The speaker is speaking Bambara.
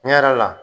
Tiɲɛ yɛrɛ la